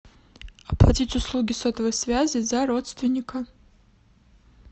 оплатить услуги сотовой связи за родственника